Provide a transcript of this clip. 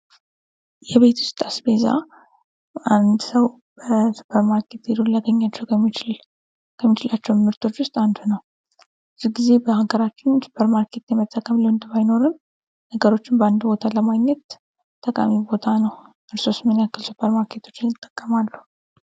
የቤት ውስጥ አስቤዛ አንድ ሰው ሱፐር ማርኬት ሂዶ ሊያገኛቸው ከሚችላቸው ምርቶች ውስጥ አንዱ ነው። ብዙ ጊዜ በሀገራችን ሱፐር ማርኬት የመጠቀም ልምድ ባይኖርም ነገሮችን በአንድ ቦታ ለማግኘት ጠቃሚ ቦታ ነው። እርስዎስ ምን ያክል ሱፐር ማርኬቶችን ይጠቀማሉ?